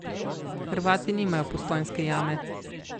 Hrvati nimajo Postojnske jame.